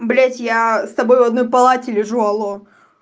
блять я с тобой в одной палате лежу алло